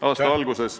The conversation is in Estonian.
Aitäh!